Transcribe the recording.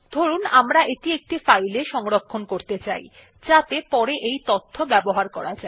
ধরুন আমরা এটি একটি ফাইলে সংরক্ষণ করতে চাই যাতে পরে এই তথ্য ব্যবহার করা যায়